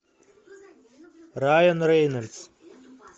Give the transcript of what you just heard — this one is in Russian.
райан рейнольдс